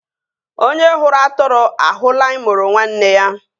Onye hụrụ atụrụ ahụla imoro nwanne ya